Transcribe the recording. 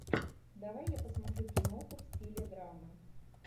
давай я посмотрю киноху в стиле драма